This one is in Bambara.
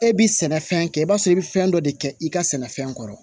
E bi sɛnɛfɛn kɛ i b'a sɔrɔ i be fɛn dɔ de kɛ i ka sɛnɛfɛn kɔrɔ